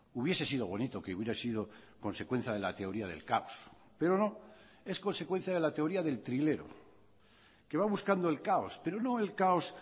hubiese sido bonito que hubiera sido consecuencia de la teoría del caos pero no es consecuencia de la teoría del trilero que va buscando el caos pero no el caos